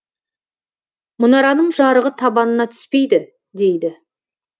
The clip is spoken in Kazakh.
мұнараның жарығы табанына түспейді дейді